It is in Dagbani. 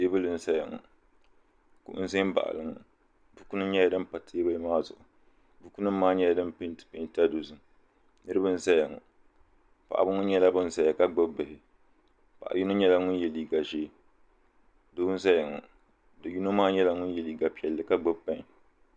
Teebuli n zaya ŋɔ kuɣu n zambaɣili ŋɔ buku nima nyɛla din pa teebuli maa zuɣu buku nima maa nyɛla din penti penta dozim niriba n zaya ŋɔ paɣaba ŋɔ nyɛla nan zaya ka gbibi bihi paɣa yino nyɛla ŋun ye liiga ʒee doo n zaya ŋɔ do'yino maa nyɛla ŋun ye liiga piɛlli ka gbibi peni.